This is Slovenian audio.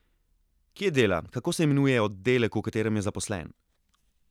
Kje dela, kako se imenuje oddelek, v katerem je zaposlen?